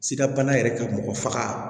Sidabana yɛrɛ ka mɔgɔ faga